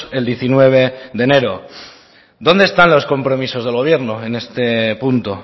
el diecinueve de enero dónde están los compromisos del gobierno en este punto